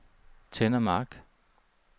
Tenna Mark